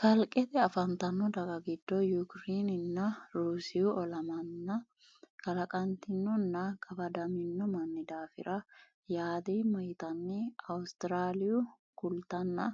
kalqete afantanno daga giddo yukirinenna ruusiyu olamanna kalaqantinonnna qafadamino manni daafira yaadeemma yitanni awusiraaliyu kultanna